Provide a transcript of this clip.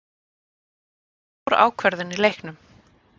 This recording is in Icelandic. Þetta er stór ákvörðun í leiknum.